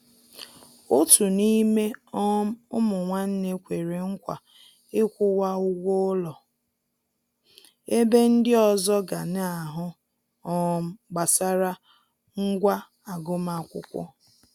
Òtù n'ime um ụmụ nwánne kwere nkwa ịkwụwa ụgwọ ụlọ, ebe ndi ọzọ ga na-ahụ um gbasara ngwá agụmakwụkwọ.